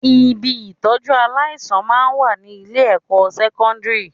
Ibi ìtọ́jú aláìsàn máa ń wà ní ilé-ẹ̀kọ́ sẹ́kọ́ndírì